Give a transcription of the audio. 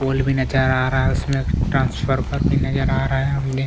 पोल भी नज़र आ रहा है उसमे ट्रान्सफफर भी नज़र आ रहै हमने--